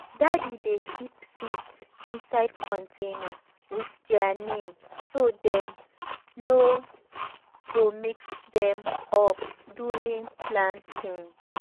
daddy dey keep seeds inside container with their name so dem no go mix them up during planting.